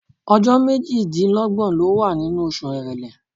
Ọjọ́ méjìdínlọ́gbọ̀ ló wà nínú oṣù Èrèlé.